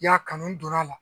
Ya kanu donn'a la